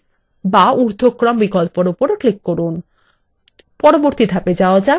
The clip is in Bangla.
পরবর্তী ধাপে এগিয়ে যান